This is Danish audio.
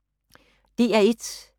DR1